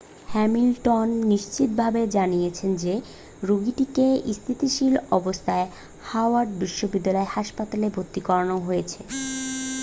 Hamilton নিশ্চিত ভাবে জানিয়েছেন যে রোগীটিকে স্থিতিশীল অবস্থায় হাওয়ার্ড বিশ্ববিদ্যালয় হাসপাতালে ভর্তি করানো হয়েছে